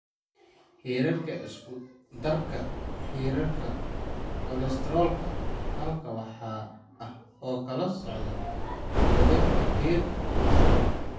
Heerarka Isku-darka Heerarka Kolestaroolka Halkan waxaa ah kala-soocida wadarta heerarka kolestaroolka.